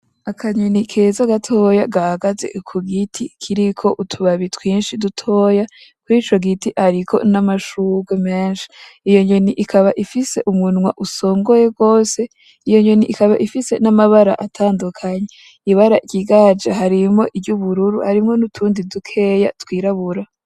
Akanyoni keza gatoya gahaze kugiti kiriko utu babi twinshi dutoya, kurico giti hariko n'amashurwe menshi .Iyo nyoni ikaba ifise umunwa usongoye gose, iyo nyoni ikaba ifise n'amabara atandukanye. Ibara rigaragaje harimwo iry'ubururu harimwo n'utundi dukeya twirabura.